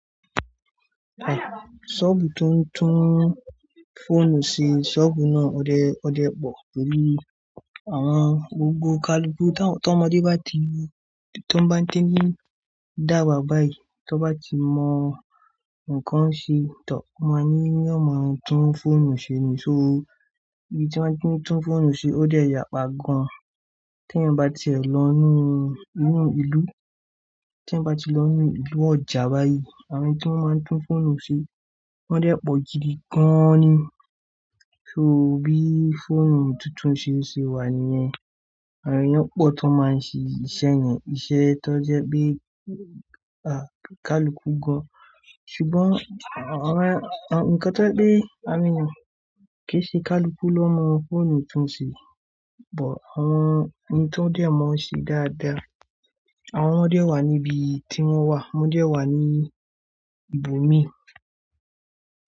Ṣọ́ọ̀bù tó ń tún fóònù ṣe, ṣọ́ọ̀bù náà ó dẹ́, ó dẹ́ pọ̀ pelú àwọn gbogbo kaluku tó, tó ọmọdé bá ti, tó bá ń dé ní dàgbà báyìí, tó bá ti mọ nǹkan ṣe tán, wọ́n máa ní yo máa tún fóònù ṣe ni. So bí tí wọ́n ti ń tún fóònù ṣe ó dẹ́ yà pa gan. Tí ẹ̀eyan bá ti ẹ lọ nínú, nínú ìlú, tí ẹ bá ti lọ nínú ìlú ọjà báyìí, àwọn tí wọ́n máa ń tún fóònù ṣe wọ́n dẹ́ pọ̀jù ni gan ni. So bí fóònù tuntun ṣe ṣe wà níyẹn. Àwọn ẹeyan pọ̀ tó máa ń ṣe iṣẹ́ yẹn, iṣẹ́ tó jẹ́ pé, àá, kaluku gan. Ṣùgbọ́n àwọn, àwọn, ǹkan tó je pe, awon eeynan kò ṣe kaluku ló mọ fóònù tuntun ṣe but àwọn ẹni tó dé ọ̀ mọọ ṣe dáadáa. Àwọn ọmọdé wà níbi tí wọ́n wà, ọmọdé wà ní ibòmíì.